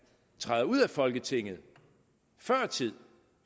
træder ud af folketinget før tid